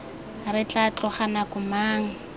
re tla tloga nako mang